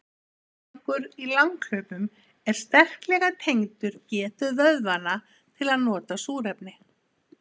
Árangur í langhlaupum er sterklega tengdur getu vöðvanna til að nota súrefni.